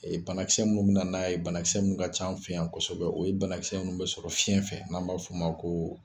Ee banakisɛsɛ munnu be na n'a ye banakisɛ munnu ka ca an fɛ yan kɔsɛbɛ, o ye banakisɛ munnu be sɔrɔ fiɲɛn fɛ n'an b'a f'o ma ko